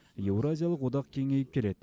еуразиялық одақ кеңейіп келеді